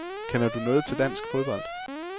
Kender du noget til dansk fodbold.